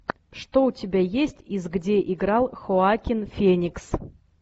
что у тебя есть из где играл хоакин феникс